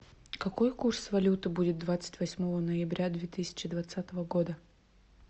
какой курс валюты будет двадцать восьмого ноября две тысячи двадцатого года